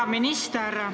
Hea minister!